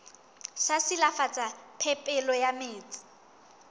sa silafatsa phepelo ya metsi